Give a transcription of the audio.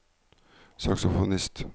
saksofonist